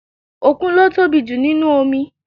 Òkun ló tóbi jù nínúu omi